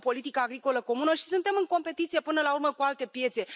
Avem o politică agricolă comună și suntem în competiție, până la urmă, cu alte piețe.